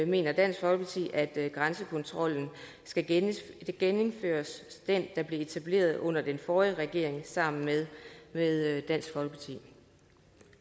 mener dansk folkeparti at grænsekontrollen skal genindføres altså den der blev etableret af den forrige regering sammen med med dansk folkeparti